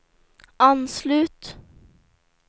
anslut